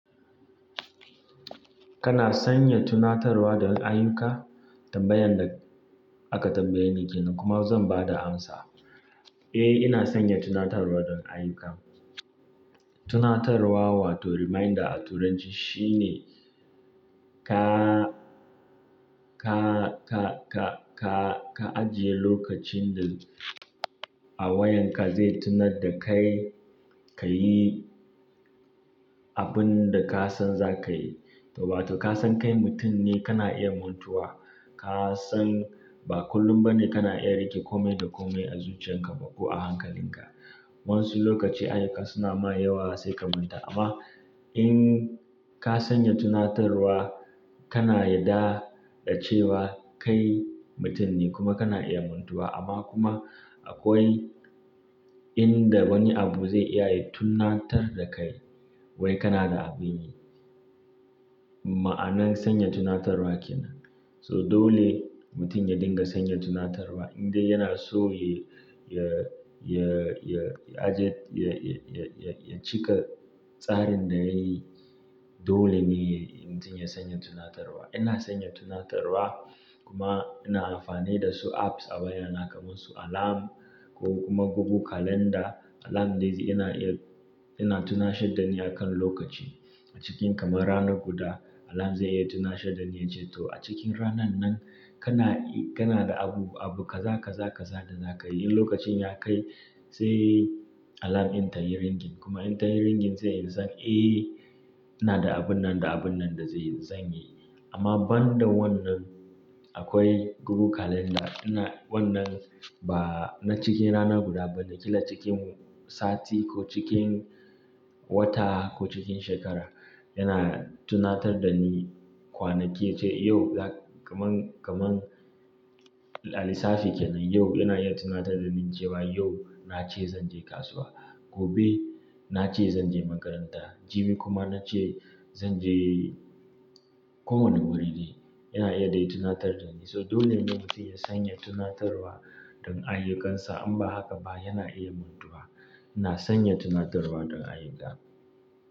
Kana sanya tunatarwa don ayyuka? Tambayan da aka tambaye ni kenan kuma zan ba da amsa. Eh, ina sanya tunatarwa don ayyuka. Tunatarwa wato reminder a turanci shine ka, ka, ka, ka, ka, ka ajiye lokacin da a wayanka zai tunatar da kai ka yi abin da ka san za ka yi. To, batu ka san kai mutum ne, kana iya montuwa. Ka san ba kullum ba ne kana iya rike kome da kome a zuciyarka ko a hankalinka. Wayanau lokaci ayyuka su na ma yawa sai ka manta. Amma in ka sanya tunatarwa, kana yarda da cewa kai mutum ne kuma kana iya mantuwa. Amma kuma akwai inda wani abu zai iya yin tunatar da kai wai kana da abin yi. Ma'anar sanya tunatarwa kenan. So dole mutum ya dinga sanya tunatarwa in dai yana so ya, ya, ya, ya aje, ya, ya, ya, ya cika tsarin da yayi dole ne mutum ya sanya tunatarwa. Ina sanya tunatarwa kuma ina amfani da su apps a wayana kamar su alarm ko kuma Google Calendar. Alarm da ita ina iya, ina tuna shadda ni akan lokaci. A cikin kamar rana guda alarm zai iya tuna shadda ni yace to a cikin ranan nan kana, kana da abu, abu kaza, kaza, kaza da za ka yi. In lokacin ya kai sai alarm in ta yi ringing kuma in ta yi ringing zai yi san eh ina da abun nan da abun nan da zai zan yi. Amma banda wannan akwai Google Calendar. Ina wannan ba na cikin rana guda ba naki la cikin sati ko cikin wata ko cikin shekara yana tunatar da ni kwanaki ce, yau kaman, kaman lalisafi kenan. Yau yana iya tuna ta da ni cewa yau na ce zan je kasuwa, gobe na ce zan je makaranta, jimi kuma na ce zan je community. Yana iya dai tunatar da ni. So dole ne mutum ya sanya tunatarwa don ayyukansa in ba haka ba yana iya mantuwa. Ina sanya tunatarwa don ayyuka.